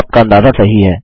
आपका अंदाजा सही है